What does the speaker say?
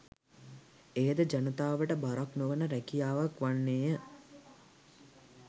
එයද ජනතාවට බරක් නොවන රැකියාවක් වන්නේය